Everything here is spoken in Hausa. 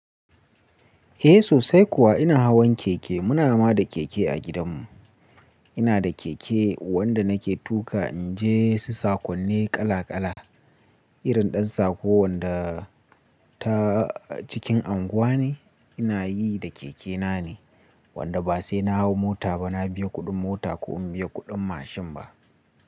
Eh sosai kuwa ina hawan keke, muna ma da keke a gidanmu. Ina da keke wanda nake tuƙa in je su saƙonni kala kala. Irin ɗan sako wanda ta cikin anguwa ne ina yi da keke na ne, wanda ba sai na hau mota ba, na biya kuɗin mota ko in biya kuɗin mashin ba.